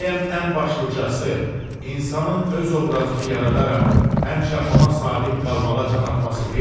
Bəyəm ən başlıcası, insanın öz obrazını yaradaraq həmişə ona sadiq qalmağa can atması deyilmi?